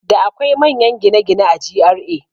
Da akwai manya manyan gine-gine a GRA